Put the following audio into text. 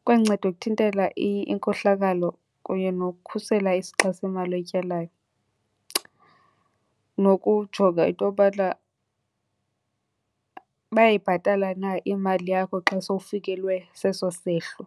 Ikwanceda ukuthintela inkohlakalo kunye nokukhusela isixa semali oyityalayo, nokujonga into yobana bayayibhatala na imali yakho xa sowufikelwe seso sehlo.